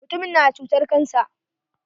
Mutumin na da cutan cancer.